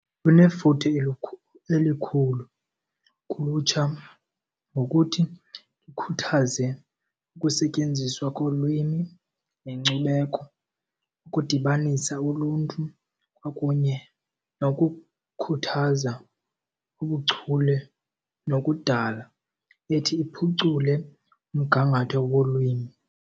Kunefuthe elikhulu kulutsha ngokuthi likhuthaze ukusetyenziswa kolwimi nenkcubeko, ukudibanisa uluntu kwakunye nokukhuthaza ubuchule nokudala ethi iphucule umgangatho wolwimi.